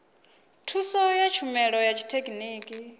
thuso ya tshumelo ya tshithekhiniki